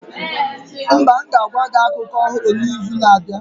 Mba, m ga-agwa gị akụkọ ọhụrụ n'izu na-abịa.